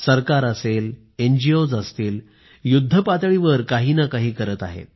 सरकार असेल एनजीओज् असतील युद्धपातळीवर काही ना काही करत आहेत